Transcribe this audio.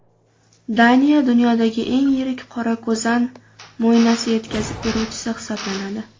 Daniya dunyodagi eng yirik qorako‘zan mo‘ynasi yetkazib beruvchisi hisoblanadi.